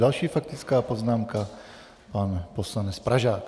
Další faktická poznámka, pan poslanec Pražák.